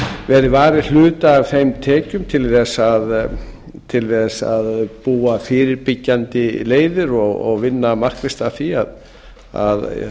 verið varið hluta af þeim tekjum til þess að búa fyrirbyggjandi leiðir og vinna markvisst að því að